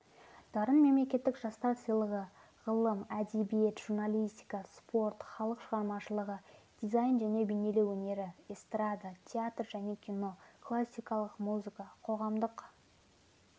дарын мемлекеттік жастар сыйлығы ғылым әдебиет журналистика спорт халық шығармашылығы дизайн және бейнелеу өнері эстрада театр және кино классикалық музыка қоғамдық